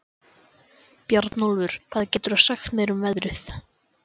Bjarnólfur, hvað geturðu sagt mér um veðrið?